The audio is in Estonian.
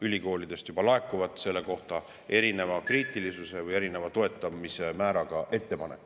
Ülikoolidest laekuvad selle kohta juba erineva kriitilisuse või toetamise määraga ettepanekud.